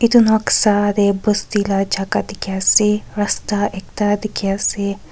noksa tae bosti la jaka dikhiase rasta ekta dikhiase.